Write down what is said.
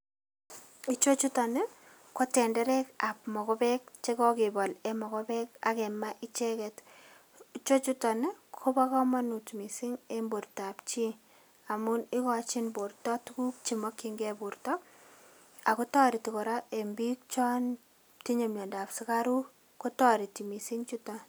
Ichechuton ko tenderekab mokobeek chekokebol en mokobeek ak kemaa icheket, ichechuton kobokomonut mising en bortab chii amun ikochin borto tukuk chemokying'ee borto akoo toretii kora en biik chon tinyee miondab sikaruk, kotoreti kot mising chuton.